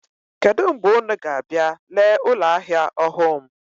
Kedụ mgbe unu ga-abịa lee ụlọahịa ọhụụ m?